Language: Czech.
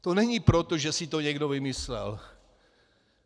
To není proto, že si to někdo vymyslel.